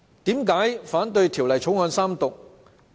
為何我反對《條例草案》三讀？